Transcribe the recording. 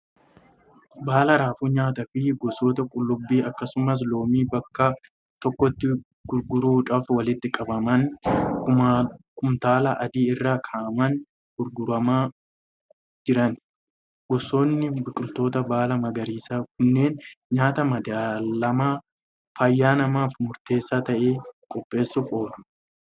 Baala raafuu nyaataa fi gosoota qullubbii akkasumas loomii bakka tokkotti gurgurtaadhaaf walitti qabamanii kumtaala adii irra kaa'amanii gurguramaa jiran. Gosoonni biqiltoota baala magariisaa kunneen nyaata madaalamaa fayyaa namaaf murteessaa ta'e qopheessuuf oolu.